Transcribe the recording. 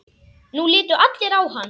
Nú litu allir á hann.